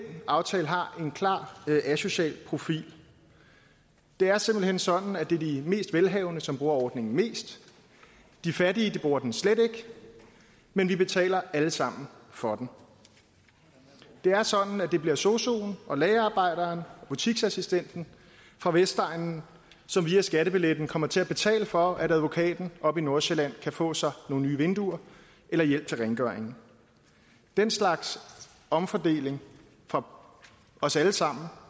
aftale har en klar asocial profil det er simpelt hen sådan at det er de mest velhavende som bruger ordningen mest de fattige bruger den slet ikke men vi betaler alle sammen for den det er sådan at det bliver sosuen og lagerarbejderen og butiksassistenten fra vestegnen som via skattebilletten kommer til at betale for at advokaten oppe i nordsjælland kan få sig nogle nye vinduer eller hjælp til rengøring den slags omfordeling fra os alle sammen